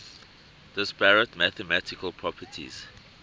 disparate mathematical properties